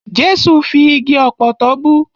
Jẹ́sù fi igi ọ̀pọ̀tọ́ bú.